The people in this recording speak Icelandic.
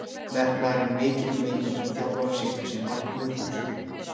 Metnaðurinn er mikill og leikmenn sem þjálfarar setja sér markmið fyrir sumarið.